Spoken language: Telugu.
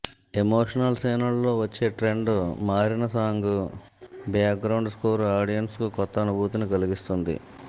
ఎమోషనల్ సీన్లలో వచ్చే ట్రెండ్ మారిన సాంగ్ బ్యాక్ గ్రౌండ్ స్కోర్ ఆడియెన్స్కు కొత్త అనుభూతిని కలిగిస్తుంది